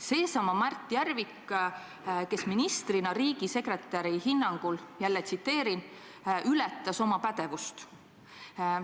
" Seesama Mart Järvik, kes ministrina riigisekretäri hinnangul "ületas oma pädevust".